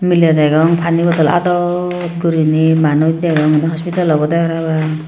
miley degong pani bodol aadot guriney manuj degong hospital obodey parapang.